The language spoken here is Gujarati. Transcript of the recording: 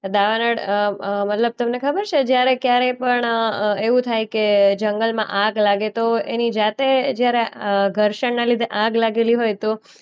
તો દાવાનળ અ અ મતલબ તમને ખબર છે જ્યારે ક્યારે પણ અ અ એવું થાય કે જંગલમાં આગ લાગે તો એની જાતે જ્યારે અ ઘર્ષણના લીધે આગ લાગેલી હોય તો